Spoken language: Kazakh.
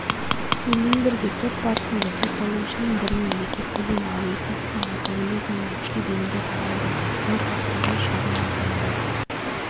сонымен бірге сот барысында сотталушының біріне есірткіден ал екіншісіне алкоголизмнен күштеп емдеу тағайындалды нұр ақтөбе шағын ауданында